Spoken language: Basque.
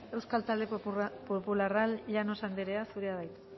euskal talde popularra llanos anderea zurea da hitza